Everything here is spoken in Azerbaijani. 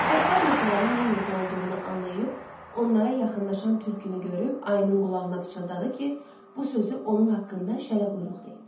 Çaqqal məsələnin nə yerdə olduğunu anlayıb, onlara yaxınlaşan tülkünü görüb ayının qulağına pıçıldadı ki, bu sözü onun haqqında şələquyruq deyib.